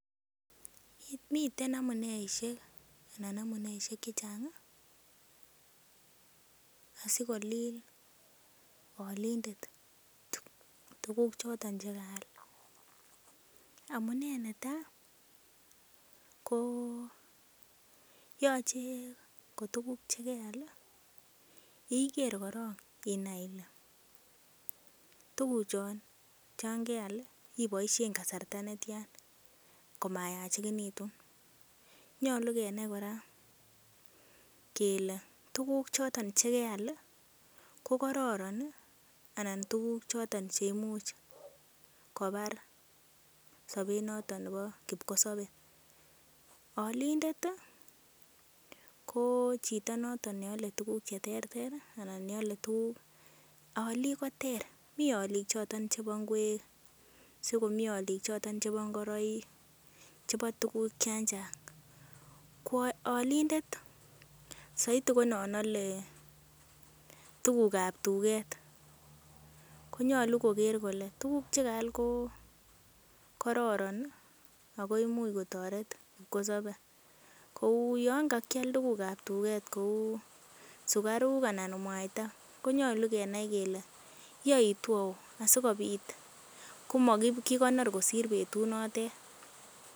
Miten amuneishek chechang asikolil olindet tuguk choton che kaal. Amune netai ko: yoche kotuguk che keal iger korong inai ile, tuguchon chan keal iboishen kasarta netyan komayachekinitu. Nyolu kenai kora kele tuguk che keal kokororon anan tuguk choton che imuch kobar sobet noton nebo kipkosobe olindet ko hcito noton ne ale tuguk che terter anan ne ale tuguk. Olik ko ter mi olik choton chebo ng'wek sikomi olik choton chebo ngoroik, chebo tuguk chan chang. Ko olindet soiti ko non ale tuguk ab tuget konyolu koger kole tuguk che kaal ko kororon ago imuch kotoret kipkosobe kou yon kakial tuguk ab tuget kou sugaruk anan mwaita konyolu kenai kole yoitu au asikobit komakikonor kosir betutu notet.